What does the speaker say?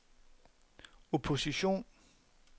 opposition